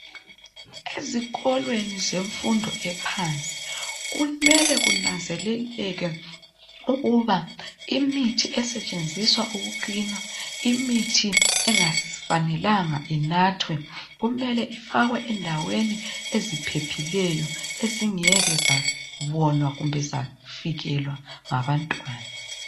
ezikolweni zemfundo ephansi kumele kunanzeleleke ukuba imithi esetshenziswa uku cleaner imithi engafanelanga inathwe kumele ifakwe endaweni eziphephileyo ezingeke zabonwa kumbe zafikelwa ngabantwana